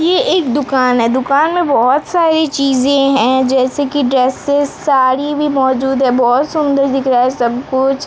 ये एक दुकान है दुकान में बहोत सारी चीजे हैं जैसे की ड्रेसेस साड़ी भी मौजूद है। बहोत सुंदर दिख रहा है सब कुछ।